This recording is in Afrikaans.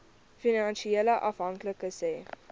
finansiële afhanklikes hê